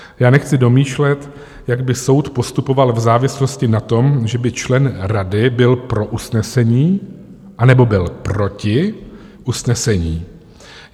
Já nechci domýšlet, jak by soud postupoval v závislosti na tom, že by člen rady byl pro usnesení, anebo byl proti usnesení.